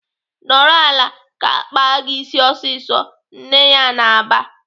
"Nọrọ ala ka akpa gị ịsị ọsịsọ!" Nne ya na-aba.